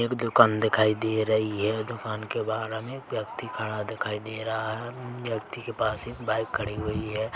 एक दुकान दिखाई दे रही हैं दुकान के बाहर हमे व्यक्ति खड़ा दिखाई दे रहा है व्यक्ति के पास एक बाईक खड़ी हुई है।